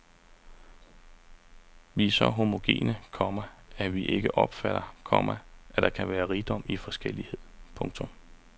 Vi er så homogene, komma at vi ikke opfatter, komma at der kan være rigdom i forskellighed. punktum